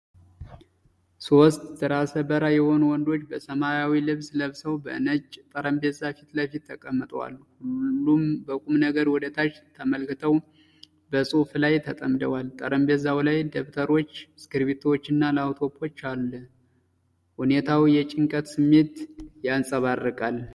ሦስት ራሰ በራ የሆኑ ወንዶች በሰማያዊ ልብስ ለብሰው፣ በነጭ ጠረጴዛ ፊት ለፊት ተቀምጠዋል። ሁሉም በቁም ነገር ወደ ታች ተመልክተው በጽሑፍ ላይ ተጠምደዋል። ጠረጴዛው ላይ ደብተሮች፣ እስክሪብቶዎችና ላፕቶፕ አለ። ሁኔታው የጭንቀት ስሜት ያንጸባርቃል።